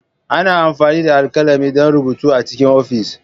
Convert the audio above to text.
Ana amfani da alkalami don rubutu A cikin ofis.